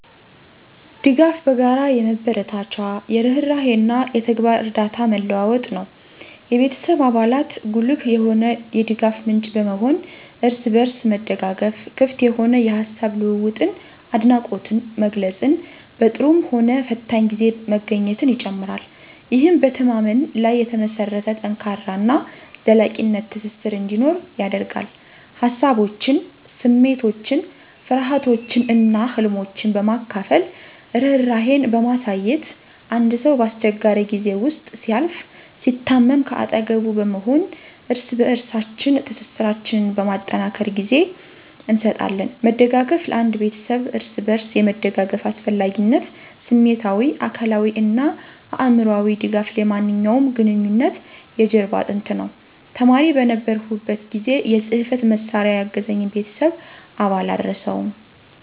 ድጋፍ በጋራ የመበረታቻ፣ የርህራሄ እና የተግባር እርዳታ መለዋወጥ ነው። የቤተሰብ አባላት ጉልህ የሆነ የድጋፍ ምንጭ በመሆን፣ እርስ በርስ መደጋገፍ፣ ክፍት የሆነ የሐሳብ ልውውጥን፣ አድናቆት መግለፅን፣ በጥሩም ሆነ ፈታኝ ጊዜ መገኘትን ይጨምራል። ይህም በመተማመን ላይ የተመሰረተ ጠንካራ እና ዘላቂ ትስስር እንዲኖር ያደርጋል። ሃሳቦችን፣ ስሜቶችን፣ ፍርሃቶችን እና ህልሞችን በማካፈል፣ ርህራሄን በማሳየት፣ አንድ ሰው በአስቸጋሪ ጊዜ ውስጥ ሲያልፍ፣ ሲታመም ከአጠገቡ በመሆን እርስ በበርሳችን ትስስራችን በማጠናከር ጊዜ እንሰጣለን። መደጋገፍ ለአንድ ቤተሰብ እርስ በርስ የመደጋገፍ አስፈላጊነት ስሜታዊ፣ አካላዊ እና አእምሮአዊ ድጋፍ የማንኛውም ግንኙነት የጀርባ አጥንት ነው። ተማሪ በነበርሁበት ጊዜ የጽህፈት መሳሪያ ያገዘኝን የቤተሰብ አባል አልረሳውም።